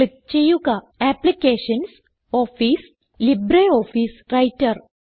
click ചെയ്യുക applications office LibreOffice writer